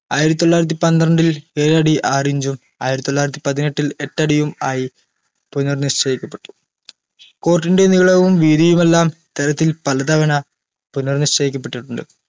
ആയിരത്തി തൊള്ളായിരത്തി പന്ത്രണ്ടിൽ ഏഴടി ആറിഞ്ചും ആയിരത്തി തൊള്ളായിരത്തി പതിനെട്ടിൽ എട്ടടിയും ആയി പുനർനിശ്ചയിക്കപ്പെട്ടു court ൻറെ നീളവും വീതിയുമെല്ലാം ഇത്തരത്തിൽ പലതവണ പുനർനിശ്ചയിക്കപ്പെട്ടിട്ടുണ്ട്